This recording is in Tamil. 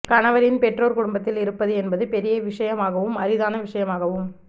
கணவரின் பெற்றோர் குடும்பத்தில் இருப்பது என்பது பெரிய விஷயமாகவும் அரிதான விஷயமாகவும்